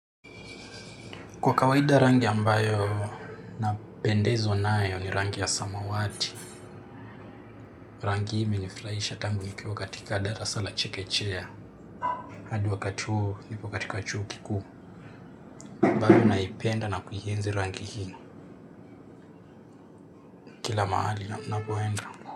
Kwa kawaida rangi ambayo napendezwa nayo ni rangi ya samawati. Rangi hii imenifurahisha tangu nikiwa katika darasa la chekechea. Hadi wakati huu niko katika chuo kikuu. Bado naipenda na kuienzi rangi hii. Kila mahali ninapoenda.